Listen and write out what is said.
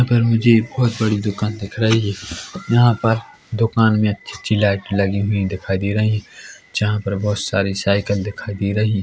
यहां पर मुझे बोहोत बड़ी दुकान दिख रही है यहां पर दुकान मे अच्छी अच्छी लाइट लगी हुई दिखाई दे रही है जहां पर बोहोत सारी सायकल दिखाई दे रही है।